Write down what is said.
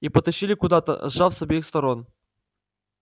и потащили куда-то сжав с обеих сторон